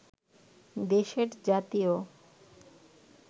দেশের জাতীয়